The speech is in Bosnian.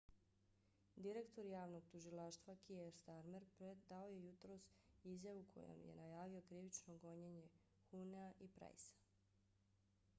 direktor javnog tužilaštva kier starmer dao je jutros izjavu kojom je najavio krivično gonjenje huhnea i prycea